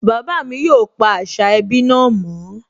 Bàbá mi yóò pa àṣà ẹbí náà mọ́